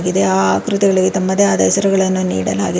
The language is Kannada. ಇದೇ ಆಕೃತಗಳಿಗೆ ತಮ್ಮದೇ ಆದ ಹೆಸರುಗಳನ್ನು ನೀಡಲಾಗಿದೆ.